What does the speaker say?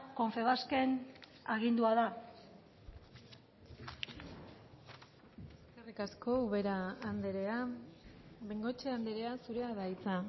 confebasken agindua da eskerrik asko ubera andrea bengoechea andrea zurea da hitza